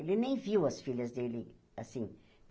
Ele nem viu as filhas dele, assim.